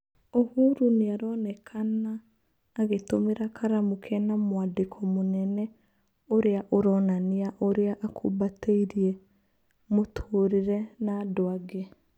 ũhuru nĩ aronekana agĩtũmĩra karamu Kena mwandĩko mũnene ũrĩa ũronania ũrĩa akumbateirie mũtũrĩre na andũangĩ.